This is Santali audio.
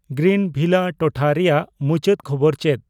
ᱜᱨᱤᱱᱵᱷᱤᱞᱟ ᱴᱚᱴᱷᱟ ᱨᱮᱭᱟᱜ ᱢᱩᱪᱟᱹᱫ ᱠᱷᱚᱵᱚᱨ ᱪᱮᱫ